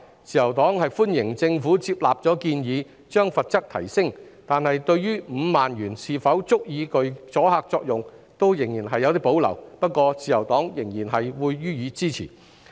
自由黨歡迎政府接納建議，提升罰則，但對於5萬元是否足以具阻嚇作用仍然有所保留，不過，自由黨仍然會予以支持。